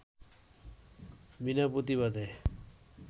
বিনা প্রতিবাদে